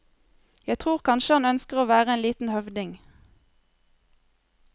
Jeg tror kanskje han ønsker å være en liten høvding.